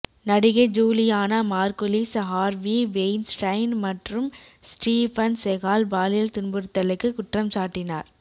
நடிகை Julianna Margulies Harvey Weinstein மற்றும் Steven Seagal பாலியல் துன்புறுத்தலுக்கு குற்றம்சாட்டினார்